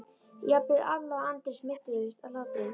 Jafnvel Alla og Andri smituðust af látunum.